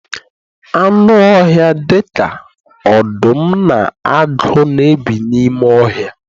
Anụ ọhịa dịka ọdụm na agụ na-ebi n'ime ọhịa